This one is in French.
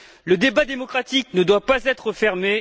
Le débat démocratique ne doit pas être fermé.